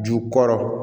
Ju kɔrɔ